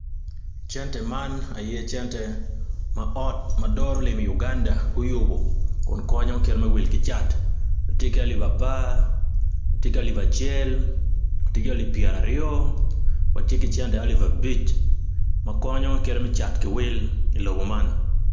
Cente man aye cente man aye ot ma doro lim I Uganda guyubo kun konyo kit me will ki cat tye ki alip apar, tye ki alip acel, tye ki alip pyer aryo, watye ki cente alip abic ma konyo kit me cat ki wil ilobo man.